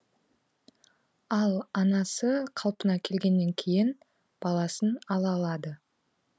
ал анасы қалпына келгеннен кейін баласын ала алады